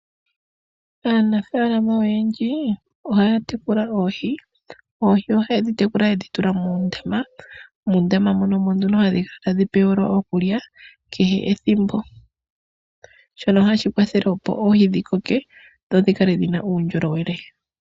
Aanafaalama oyendji ohaya tekula oohi, oohi oahyedhi tekula yedhi yula muundama, muundama moka omo nduno hadhi pewelwa okulya kehe ethimbo shoka hashi kwathele opo oohi dhikoke dho dhikale dhina uundjolowele.